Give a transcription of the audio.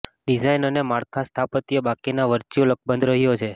design અને માળખા સ્થાપત્ય બાકીના વર્ચ્યુઅલ અકબંધ રહ્યો છે